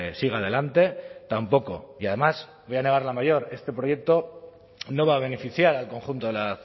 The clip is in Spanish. siga adelante tampoco y además voy a negar la mayor este proyecto no va a beneficiar al conjunto de la